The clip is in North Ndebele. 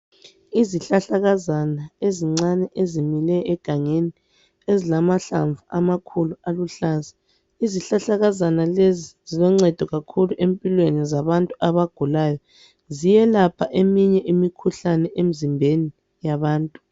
Izihlahlakazana ezincane ezimile egangeni, ezilamahlamvu amakhulu aluhlaza. Izihlahlakazana lezi ziloncedo kakhulu empilweni zabantu abagulayo. Ziyelapha eminye imikhuhlane emzimbeni yabantu.